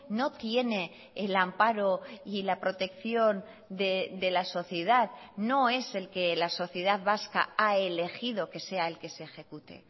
no tiene el amparo y la protección de la sociedad no es el que la sociedad vasca ha elegido que sea el que se ejecute